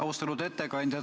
Austatud ettekandja!